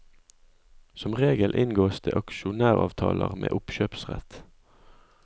Som regel inngås det aksjonæravtaler med oppkjøpsrett.